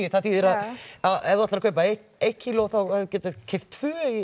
það þýðir að ef þú ætlar að kaupa eitt eitt kíló þá geturðu keypt tvö í